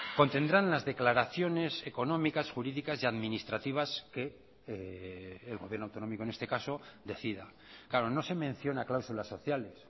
contendrán las declaraciones económicas jurídicas y administrativas que el gobierno autonómico en este caso decida claro no se menciona cláusulas sociales